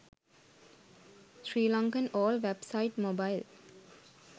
sri lankan all wap site mobile